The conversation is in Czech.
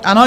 Ano?